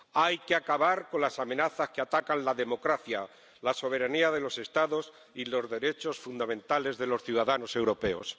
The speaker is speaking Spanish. Hay que acabar con las amenazas que atacan la democracia, la soberanía de los Estados y los derechos fundamentales de los ciudadanos europeos.